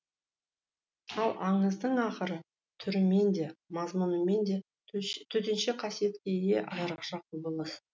ал аңыздың ақыры түрімен де мазмұнымен де төтенше қасиетке ие айырықша құбылыс